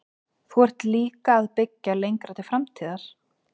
Þú ert líka að byggja lengra til framtíðar?